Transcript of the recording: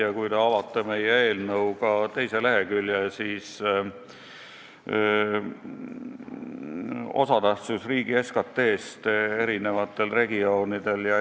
Ja kui te avate meie eelnõu teise lehekülje, siis näete, et osatähtsus riigi SKT-s on eri regioonidel erinev.